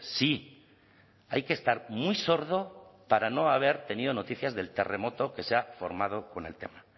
sí hay que estar muy sordo para no haber tenido noticias del terremoto que se ha formado con el tema